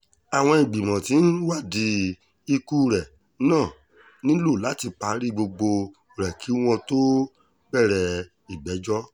àwọn ìgbìmọ̀ tó ń wádìí ikú rẹ náà nílò láti parí gbogbo rẹ̀ kí wọ́n tóó bẹ̀rẹ̀ ìgbẹ́jọ́